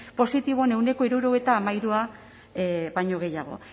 positiboen ehuneko hirurogeita hamairu baino gehiago